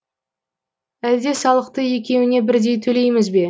әлде салықты екеуіне бірдей төлейміз бе